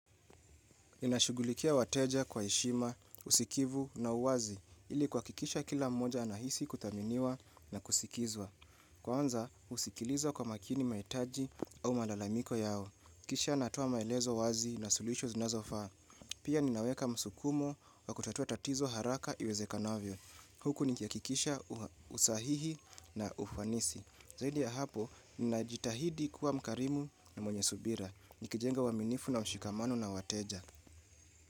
Ninashughulikia wateja kwa heshima, usikivu na uwazi ili kuhakikisha kila mmoja anahisi kuthaminiwa na kusikizwa. Kwanza, husikiliza kwa makini mahitaji au malalamiko yao. Kisha natoa maelezo wazi na suluhisho zinazofaa. Pia ninaweka msukumo wa kutatua tatizo haraka iwezekanavyo. Huku nikihakikisha usahihi na ufanisi. Zaidi ya hapo, ninajitahidi kuwa mkarimu na mwenye subira. Nikijenga uaminifu na mshikamano na wateja.